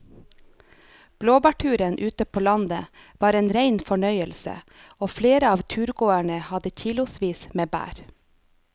Blåbærturen ute på landet var en rein fornøyelse og flere av turgåerene hadde kilosvis med bær.